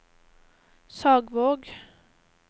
Sagvåg